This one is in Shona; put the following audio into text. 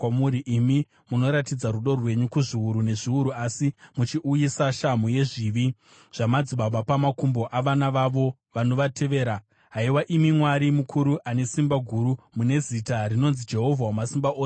Imi munoratidza rudo rwenyu kuzviuru nezviuru asi muchiuyisa shamhu yezvivi zvamadzibaba pamakumbo avana vavo vanovatevera. Haiwa imi Mwari mukuru ane simba guru, mune zita rinonzi Jehovha Wamasimba Ose,